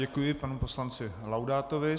Děkuji panu poslanci Laudátovi.